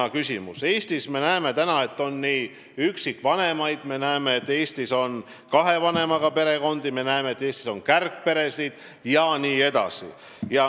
Me näeme Eestis, et meil on üksikvanemaid, me näeme, et Eestis on kahe vanemaga perekondi, me näeme, et Eestis on kärgperesid.